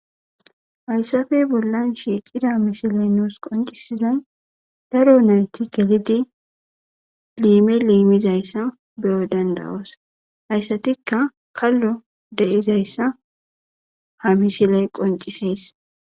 hayssafe bollan shiiqida mishiley noos qoncisizay daro nayti gelidi liime liimizayssa beyo dandawoos hayssatikka kallo deizayssa ha mishile qonciseys